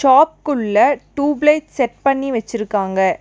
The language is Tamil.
ஷாப் குள்ள டியூப்லைட் செட் பண்ணி வெச்சிருக்காங்க.